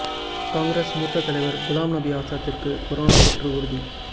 காங்கிரஸ் மூத்த தலைவர் குலாம் நபி ஆசாத்திற்கு கொரோனா தொற்று உறுதி